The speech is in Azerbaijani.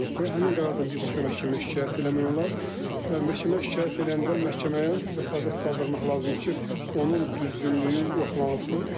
Həmin qərardan birbaşa məhkəməyə şikayət eləmək olar və məhkəməyə şikayət eləyəndə məhkəməyə vəsatət qaldırmaq lazımdır ki, onun düzgünlüyü yoxlanılsın.